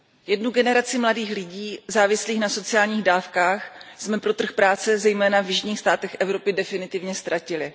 Jednu generaci mladých lidí závislých na sociálních dávkách jsme pro trh práce, zejména v jižních státech Evropy, definitivně ztratili.